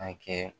A kɛ